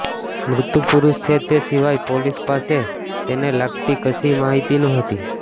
મૃતક પુરુષ છે તે સિવાય પોલીસ પાસે તેને લગતી કશીય માહિતી નહોતી